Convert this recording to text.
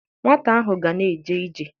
Nwata ahụ ga na-eje ije.